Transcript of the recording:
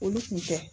Olu kun tɛ